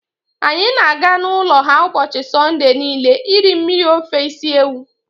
Anyị na-aga n'ụlọ ha ụbọchị Sọnde niile iri mmiri ofe isi ewu.